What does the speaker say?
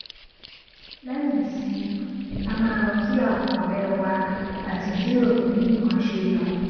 léyìn ìsinmi a máa lọ kí àwọn ọrẹ wa àti jiròrò bí nnkan ṣe lọ